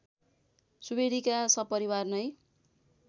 सुवेदीका सपरिवार नै